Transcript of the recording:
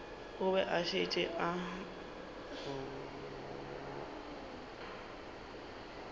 o be o šetše o